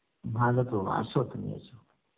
ভালো তো এস তুমি